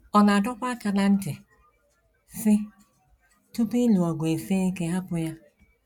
Ọ na - adọkwa aka ná ntị, sị: “ Tupu ịlụ ọgụ esie ike hapụ ya. ”